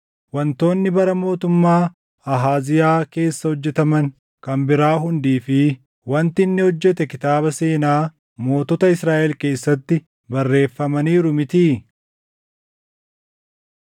Wantoonni bara mootummaa Ahaaziyaa keessa hojjetaman kan biraa hundii fi wanti inni hojjete kitaaba seenaa mootota Israaʼel keessatti barreeffamaniiru mitii?